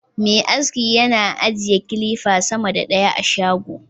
Me aski yana ajiye kilifa sama da ɗaya a shago